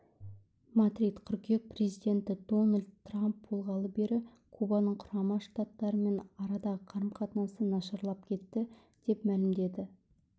мадрид қыркүйек президенті дональд трамп болғалы бері кубаның құрама штаттармен арадағы қарым-қатынасы нашарлап кетті деп мәлімдеді